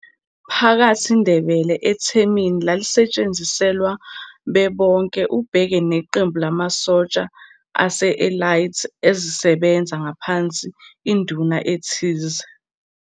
Phakathi Ndebele ethemini lalisetshenziselwa bebonke ubheke neqembu lamasosha ase-elite ezisebenza ngaphansi Induna ethize.